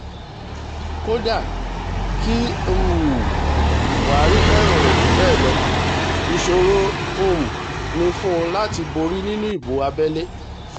kódà kí um buhari fẹ́ràn rẹ̀ jù bẹ́ẹ̀ lọ ìṣòro um ni fún un láti borí nínú ìbò abẹ́lé